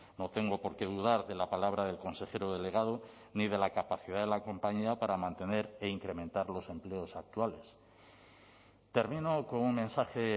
no tengo por qué dudar de la palabra del consejero delegado ni de la capacidad de la compañía para mantener e incrementar los empleos actuales termino con un mensaje